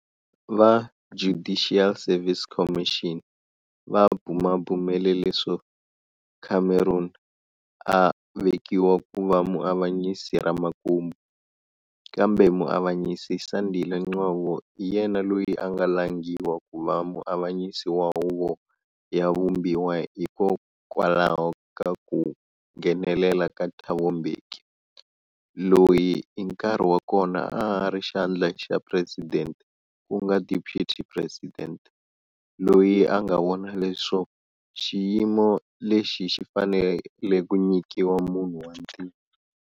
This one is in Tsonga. Va Judicial Service Commission va bumabumele leswo Cameron a vekiwa ku va muavanyisi ra makumu, kambe muavanyisi Sandile Ngcobo hi yena loyi a nga langiwa ku va muavanyisi wa Huvo ya Vumbiwa hikokwalaho ka ku nghenelela ka Thabo Mbeki, loyi hi nkarhi wa kona a a ri xandla xa president ku nga Deputy President, loyi a nga vona leswo xiyimo lexi xi fanele ku nyikiwa munhu wa ntima.